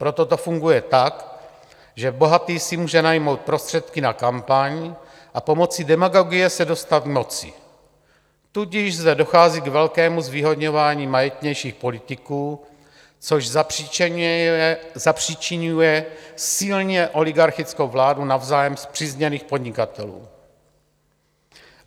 Proto to funguje tak, že bohatý si může najmout prostředky na kampaň a pomocí demagogie se dostat k moci, tudíž zde dochází k velkému zvýhodňování majetnějších politiků, což zapříčiňuje silně oligarchickou vládu navzájem spřízněných podnikatelů.